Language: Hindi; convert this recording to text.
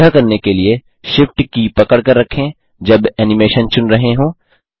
यह करने के लिए Shift की पकड़कर रखें जब एनिमेशन चुन रहे हों